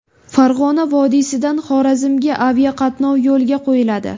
Farg‘ona vodiysidan Xorazmga aviaqatnov yo‘lga qo‘yiladi.